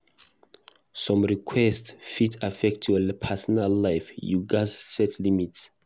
Some requests fit affect your personal life; you gatz set limits.